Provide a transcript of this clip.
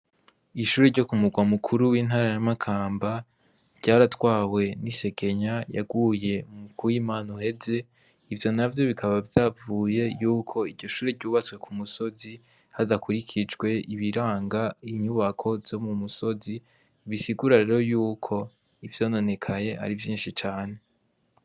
Ishuri ryo ku murwa mukuru w'intara ya makamba, ryaratwawe isegenya yaguye ku w'imana uheze ivyo navyo bikaba vyavuye yuko iryo shuri ryubatswe ku musozi hadakurikijwe ibiranga inyubako zo mu musozi, bisigura rero yuko ivyononekaye ari vyinshi cane.